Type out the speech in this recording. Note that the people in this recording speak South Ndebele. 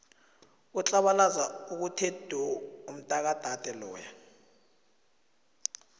utlabalaza okuthe du umtakadade loya